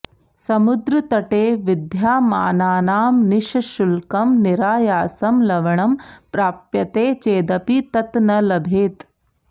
समुद्रतटे विद्यामानानां निश्शुल्कं निरायासं लवणं प्राप्यते चेदपि तत् न लभेत